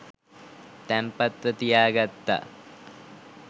තැන්පත්ව තියා ගත්තා.